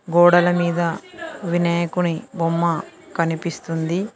గోడల మీద వినాయకుని బొమ్మ కనిపిస్తుంది.